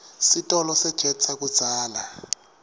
sitolo sejet sakudzala